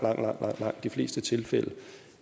langt de fleste tilfælde